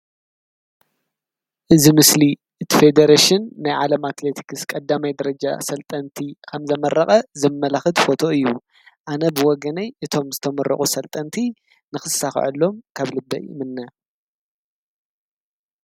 እዚ ምስሊ እቲ ፌደሬሽን ናይ ዓለማት አትሌቲክስ ቀዳማይ ደረጃ ሰልጠንቲ ከምዘመረቀ ዘመላክት ፎቶ እዩ። አነ ብወገነይ እቶም ዝተመረቁ ሰልጠንቲ ንክሳከዐሎም ካብ ልበይ ይምነ።